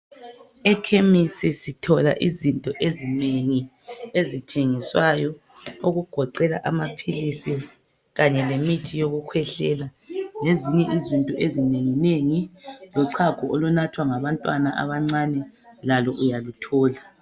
Ekhemisi sithola izinto ezinengi ezithengiswayo ezigoqela amapills kanye lemithi yokukhwehlela lezinye izinto ezinengi nengi lochago olunathwa ngabantwana abancani lalo uyakuthola